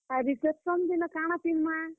ଆଉ reception ଦିନ କାଣା ପିନ୍ଧମା।